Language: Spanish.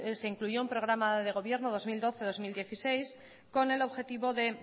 se incluyó un programa de gobierno dos mil doce dos mil dieciséis con el objetivo de